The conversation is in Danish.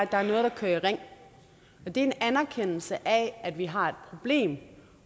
der er noget der kører i ring og det er en anerkendelse af at vi har et problem